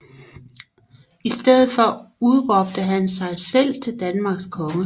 I stedet for udråbte han sig selv til Danmarks konge